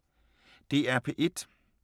DR P1